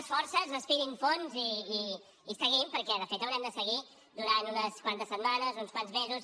les forces respirin fondo i seguim perquè de fet haurem de seguir durant unes quantes setmanes uns quants mesos